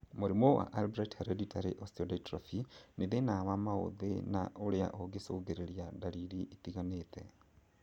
Mũrimũ wa Albright's hereditary osteodystrophy nĩ thĩna wa maũthi na ũrĩa ũngĩcũngĩrĩria ndariri itiganĩte